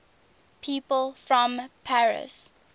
people from paris